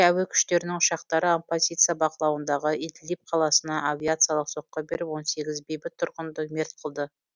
әуе күштерінің ұшақтары оппозиция бақылауындағы идлиб қаласына авиациялық соққы беріп он сегіз бейбіт тұрғынды мерт қылды